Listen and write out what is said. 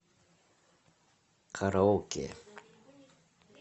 караоке